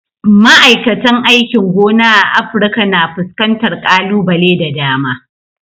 Ma'aikatan aikin gona a Afirka na fuskantar kalubale da dama.